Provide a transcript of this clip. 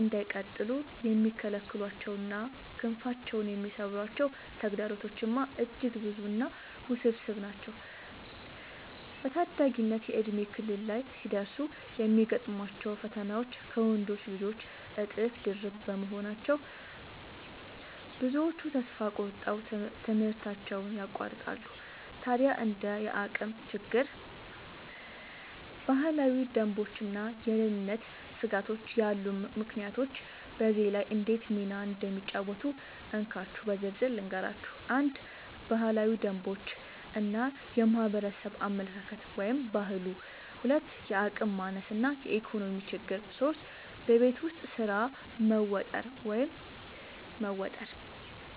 እንዳይቀጥሉ የሚከለክሏቸውና ክንፋቸውን የሚሰብሯቸው ተግዳሮቶችማ እጅግ ብዙና ውስብስብ ናቸው! በታዳጊነት የእድሜ ክልል ላይ ሲደርሱ የሚገጥሟቸው ፈተናዎች ከወንዶች ልጆች እጥፍ ድርብ በመሆናቸው፣ ብዙዎቹ ተስፋ ቆርጠው ትምህርታቸውን ያቋርጣሉ። ታዲያ እንደ የአቅም ችግር፣ ባህላዊ ደንቦችና የደህንነት ስጋቶች ያሉ ምክንያቶች በዚህ ላይ እንዴት ሚና እንደሚጫወቱ እንካችሁ በዝርዝር ልንገራችሁ፦ 1. ባህላዊ ደንቦች እና የማህበረሰብ አመለካከት (ባህሉ) 2. የአቅም ማነስ እና የኢኮኖሚ ችግር 3. በቤት ውስጥ ስራ መወጠር መወጠር